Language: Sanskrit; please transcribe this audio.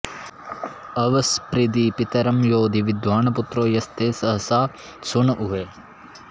अव॑ स्पृधि पि॒तरं॒ योधि॑ वि॒द्वान्पु॒त्रो यस्ते॑ सहसः सून ऊ॒हे